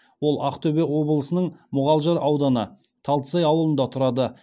ол ақтөбе облысының мұғалжар ауданы талдысай ауылында тұрады